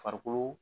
Farikolo